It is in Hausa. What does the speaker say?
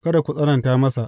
Kada ku tsananta masa.